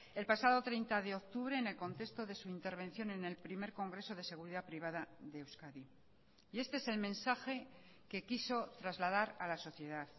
el pasado treinta de octubre en el contexto de su intervención en el primer congreso de seguridad privada de euskadi y este es el mensaje que quiso trasladar a la sociedad